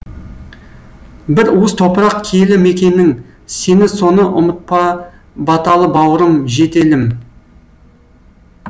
бір уыс топырақ киелі мекенің сен соны ұмытпа баталы бауырым жетелім